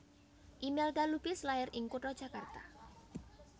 Imelda Lubis lair ing kutha Jakarta